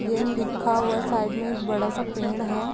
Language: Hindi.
ए टी एम लिखा हुआ है साइड में एक बड़ा-सा पेड़ है।